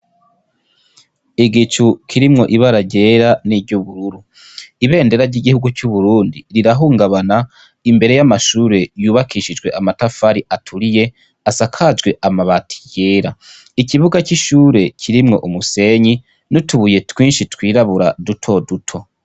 Igicu kirimwo ibara gyera n'iryobururu ibendera ry'igihugu c'uburundi rirahungabana imbere y'amashure yubakishijwe amatafari aturiye asakajwe amabati yera ikibuga c'ishure kirimwo umusenyi nutubuye twinshi twirabura duto duto.